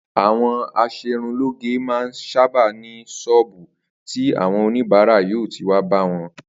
Àwo̩n as̩erunlóge máa ń sábà ní s̩ó̩ò̩bù tí àwo̩n oníbàárà yóò ti wá bá wo̩n